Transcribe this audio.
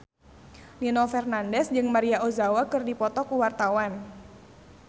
Nino Fernandez jeung Maria Ozawa keur dipoto ku wartawan